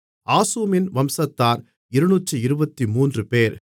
ஆசூமின் வம்சத்தார் 223 பேர்